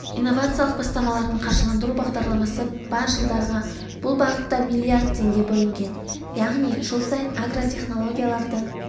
инновациялық бастамаларын қаржыландыру бағдарламасы бар жылдарға бұл бағытта миллиард теңге бөлінген яғни жыл сайын агротехнологияларды